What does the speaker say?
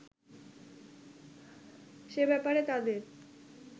সে ব্যাপারে তাদের